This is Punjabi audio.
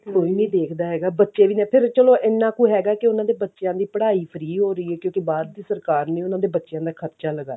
ਕੋਈ ਨੀ ਦੇਖਦਾ ਹੈਗਾ ਬੱਚੇ ਵੀ ਨੇ ਫ਼ੇਰ ਚਲੋ ਇੰਨਾ ਕੁ ਹੈਗਾ ਕਿ ਉਹਨਾਂ ਦੇ ਬੱਚਿਆਂ ਦੀ ਪੜ੍ਹਾਈ free ਹੋ ਰਹੀ ਹੈ ਕਿਉਂਕਿ ਬਾਹਰ ਦੀ ਸਰਕਾਰ ਨੇ ਉਹਨਾਂ ਦੇ ਬੱਚਿਆਂ ਦਾ ਖਰਚਾ